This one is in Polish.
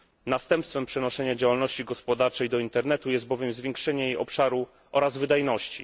Następstwem przenoszenia działalności gospodarczej do internetu jest bowiem zwiększenie jej obszaru oraz wydajności.